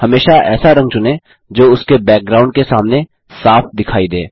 हमेशा ऐसा रंग चुनें जो उसके बैकग्राउंड के सामने साफ़ दिखाई दे